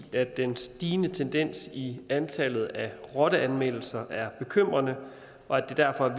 i at den stigende tendens i antallet af rotteanmeldelser er bekymrende og at det derfor er